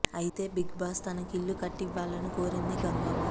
అయితే big boss తనకు ఇళ్లు కట్టి ఇవ్వాలని కోరింది గంగవ్వ